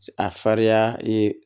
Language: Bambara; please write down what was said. A farinya ye